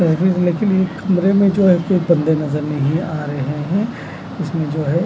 कमरे में जो है कोई बंदे नजर नहीं आ रहे हैं इसमें जो है।